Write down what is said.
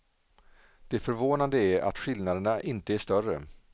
Det förvånande är att skillnaderna inte är större.